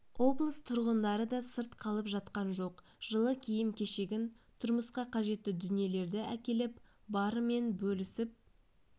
облыс тұрғындары да сырт қалып жатқан жоқ жылы киім-кешегін тұрмысқа қажетті дүниелерді әкеліп барымен бөлісіп